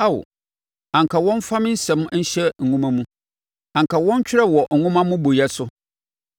“Ao, anka wɔmfa me nsɛm nhyɛ nwoma mu, anka wɔntwerɛ wɔ nwoma mmobɔeɛ so,